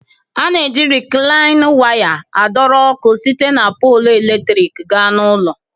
A na-eji Riklain waya adọrọ ọkụ site na polụ eletrik gaa n'ụlọ